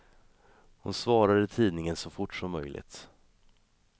Hon svarar i tidningen så fort som möjligt.